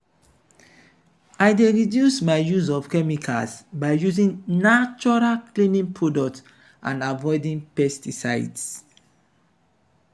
i dey reduce my use of chemicals by using natural cleaning products and and avoid pesticides.